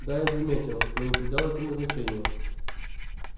да я заметил но не придал этому значения